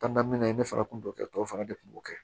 ne fana kun t'o kɛ tɔw fana de kun b'o kɛ